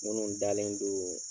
Munnu dalen doon